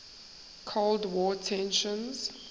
cold war tensions